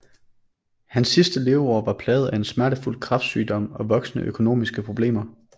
Hans sidste leveår var plaget af en smertefuld kræftsygdom og voksende økonomiske problemer